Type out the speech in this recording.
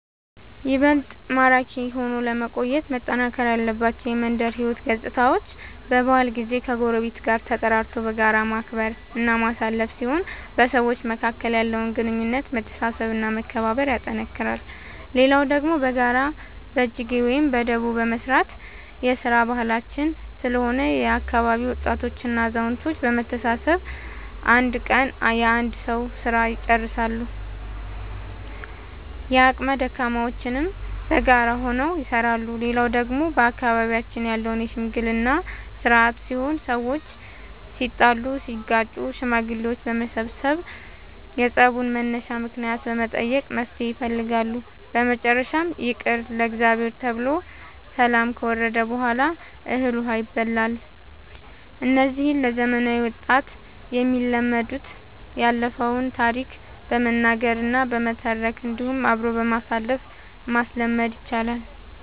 ይበልጥ ማራኪ ሆኖ ለመቆየት መጠናከር ያለባቸው የመንደር ሕይወት ገፅታዎች በበዓል ጊዜ ከጎረቤት ጋር ተጠራርቶ በጋራ ማክበር እና ማሳለፍ ሲሆን በሰዎች መካከል ያለውን ግንኙነት መተሳሰብ እና መከባበር ያጠነክራል። ሌላው ደግሞ በጋራ በጅጌ ወይም በዳቦ መስራት የስራ ባህላችን ስለሆነ የአካባቢ ወጣቶች እና አዛውቶች በመሰብሰብ አንድ ቀን የአንድ ሰዉ ስራ ልጨርሳሉ። የአቅመ ደካሞችንም በጋራ ሆነው ይሰራሉ። ሌላው ደግሞ በአካባቢያችን ያለው የሽምግልና ስርአት ሲሆን ሰዎች ሲጣሉ ሲጋጩ ሽማግሌዎች በመሰብሰብ የፀቡን መነሻ ምክንያት በመጠየቅ መፍትሔ ይፈልጋሉ። በመጨረሻም ይቅር ለእግዚአብሔር ተብሎ ሰላም ከወረደ በሗላ እህል ውሃ ይባላል። እነዚህ ለዘመናዊ ወጣት የሚለመዱት ያለፈውን ታሪክ በመናገር እና በመተረክ እንዲሁም አብሮ በማሳተፍ ማስለመድ ይቻላል።